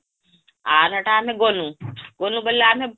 ଆର ହେଟା ଆମେ GNU GNU ବୋଇଲେ ଆମେ